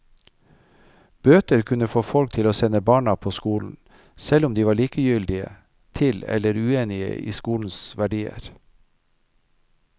Bøter kunne få folk til å sende barna på skolen, selv om de var likegyldige til eller uenige i skolens verdier.